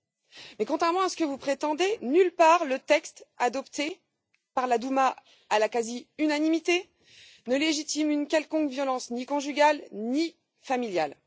Mais contrairement à ce que vous prétendez, nulle part le texte adopté par la Douma à la quasi unanimité ne légitime une quelconque violence ni conjugale ni familiale.